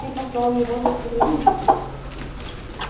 ты послал его за селеном